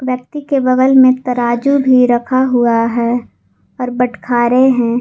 व्यक्ति के बगल में तराजू भी रखा हुआ है और बटखारे रहे हैं।